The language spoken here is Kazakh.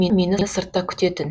мені сыртта күтетін